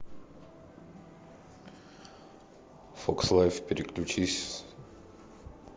фокс лайф переключись